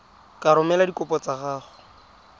ka romela dikopo tsa gago